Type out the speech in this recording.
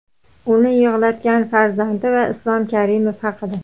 uni yig‘latgan farzandi va Islom Karimov haqida.